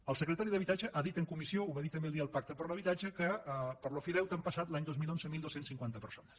el secretari d’habitatge ha dit en comissió ho va dir també el dia del pacte per l’habitatge que per l’ofideute han passat l’any dos mil onze dotze cinquanta persones